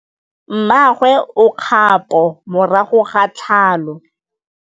Mmagwe o kgapô morago ga tlhalô.